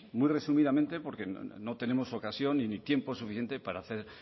muy resumidamente porque no tenemos ocasión ni tiempo suficiente para hacer